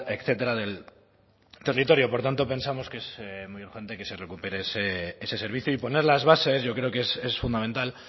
etcétera del territorio por tanto pensamos que es muy urgente que se recupere ese servicio y poner las bases yo creo que es fundamental